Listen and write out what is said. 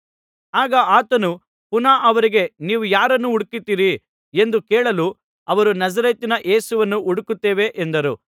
ಆಗ ಆತನು ಪುನಃ ಅವರಿಗೆ ನೀವು ಯಾರನ್ನು ಹುಡುಕುತ್ತೀರಿ ಎಂದು ಕೇಳಲು ಅವರು ನಜರೇತಿನ ಯೇಸುವನ್ನು ಹುಡುಕುತ್ತೇವೆ ಎಂದರು